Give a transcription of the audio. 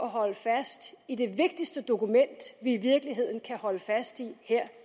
holder fast i det vigtigste dokument som vi i virkeligheden kan holde fast i her